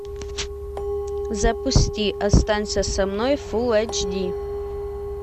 запусти останься со мной фул эйч ди